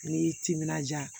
N'i y'i timinanja